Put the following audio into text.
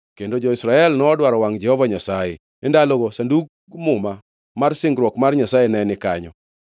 Kendo jo-Israel nodwaro wangʼ Jehova Nyasaye. (E ndalogo Sandug Muma mar singruok mar Nyasaye ne ni kanyo,